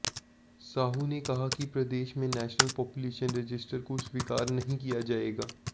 साहू ने कहा कि प्रदेश में नेशनल पापुलेशन रजिस्टर को स्वीकार नहीं किया जाएगा